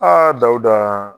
Aa Dawuda!